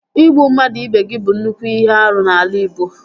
Ịgbu mmadụ ibe gị bụ nnukwu ihe árú n'ala igbo